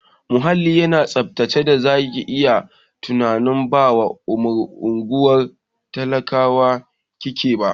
Muhallin yana tsaftace da zaki yi tunanin ba a unguwar talakawa kike ba.